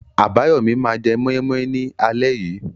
Abayomi máa jẹ moi moi ní alẹ́ yìí.